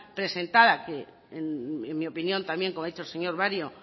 presentada que en mi opinión también como ha dicho el señor barrio